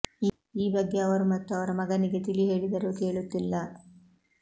ಈ ಬಗ್ಗೆ ಅವರು ಮತ್ತು ಅವರ ಮಗನಿಗೆ ತಿಳಿ ಹೇಳಿದರೂ ಕೇಳುತ್ತಿಲ್ಲ